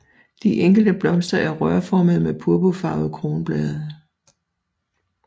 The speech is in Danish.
De enkelte blomster er rørformede med purpurfarvede kronblade